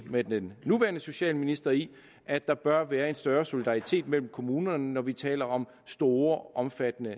med den nuværende socialminister i at der bør være en større solidaritet mellem kommunerne når vi taler om store og omfattende